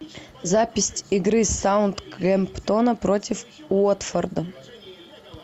запись игры саутгемптона против уотфорда